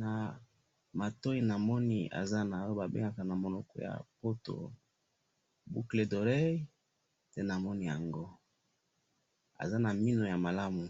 na matoyi namoni aza na oyo ba bengaka na langue ya poto ba boucle d'oreille aza na minou malamu